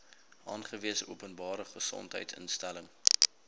aangewese openbare gesondheidsinstelling